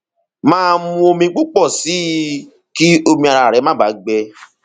máa mu omi púpọ sí i kí omi ara rẹ má baà gbẹ